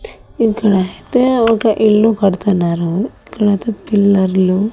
ఇక్కడహైతే ఒక ఇల్లు కడుతున్నారూ తర్వాత పిల్లర్లు .